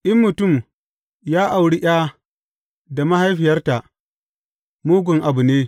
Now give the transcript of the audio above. In mutum ya auri ’ya da mahaifiyarta, mugun abu ne.